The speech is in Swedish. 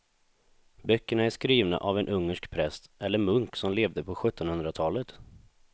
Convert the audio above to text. Böckerna är skrivna av en ungersk präst eller munk som levde på sjuttonhundratalet.